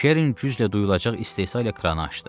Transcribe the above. Keren güclə duyulacaq istehza ilə kranı açdı.